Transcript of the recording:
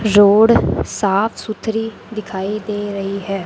Road साफ सुथरी दिखाई दे रही है।